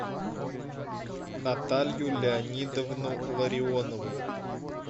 наталью леонидовну ларионову